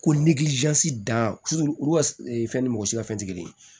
Ko dan fɛn ni mɔgɔ si ka fɛn te kelen ye